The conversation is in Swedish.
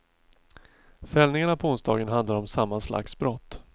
Fällningarna på onsdagen handlar om samma slags brott.